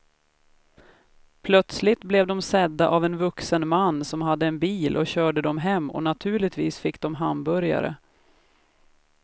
Plötsligt blev de sedda av en vuxen man som hade en bil och körde dem hem och naturligtvis fick de hamburgare.